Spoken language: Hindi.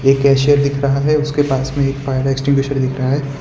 ये कैशियर दिख रहा हैं उसके पास में एक फायर एक्टिंग्यूशर दिख रहा हैं।